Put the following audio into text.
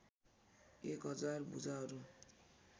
एक हजार भुजाहरू